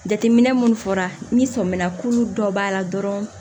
Jateminɛ munnu fɔra ni sɔmina kuru dɔ b'a la dɔrɔn